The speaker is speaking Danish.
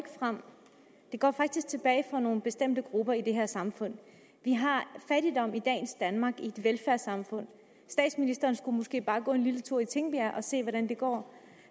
fremad det går faktisk tilbage for nogle bestemte grupper i det her samfund vi har fattigdom i dagens danmark i et velfærdssamfund statsministeren skulle måske bare gå en lille tur i tingbjerg og se hvordan det går